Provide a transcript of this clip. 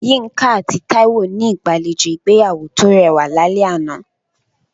Yinka àti Taiwo ní ìgbàlejò ìgbéyàwó tó rẹwà lálẹ́ àná.